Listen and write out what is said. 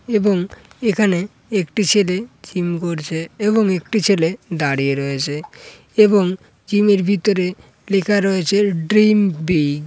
এবং এখানে একটি ছেলে জিম করছে এবং একটি ছেলে দাঁড়িয়ে রয়েছে এবং জিম এর ভিতরে লেখা রয়েছে ড্রিম বিগ ।